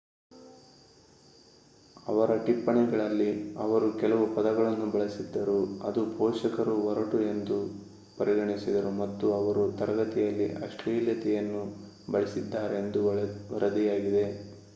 ಅವರ ಟಿಪ್ಪಣಿಗಳಲ್ಲಿ ಅವರು ಕೆಲವು ಪದಗಳನ್ನು ಬಳಸಿದ್ದರು ಅದು ಪೋಷಕರು ಒರಟು ಎಂದು ಪರಿಗಣಿಸಿದರು ಮತ್ತು ಅವರು ತರಗತಿಯಲ್ಲಿ ಅಶ್ಲೀಲತೆಯನ್ನು ಬಳಸಿದ್ದಾರೆಂದು ವರದಿಯಾಗಿದೆ